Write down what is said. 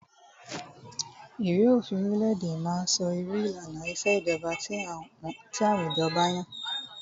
Ìwé òfin orile-èdè má ń sọ irú ìlànà ìṣèjọba tí àwùjọ ba yàn.